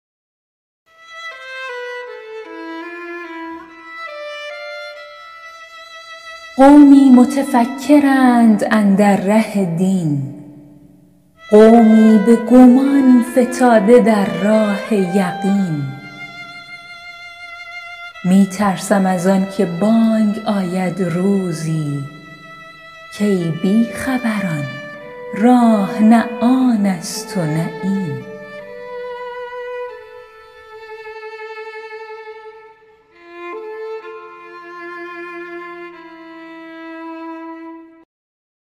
قومی متفکرند اندر ره دین قومی به گمان فتاده در راه یقین می ترسم از آن که بانگ آید روزی کای بی خبران راه نه آن است و نه این